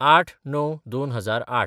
०८/०९/२००८